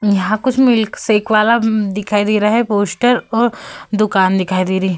यहाँ कुछ milkshake वाला दिखाई दे रहा है पोस्टर और दूकान दिखाई दे रही है।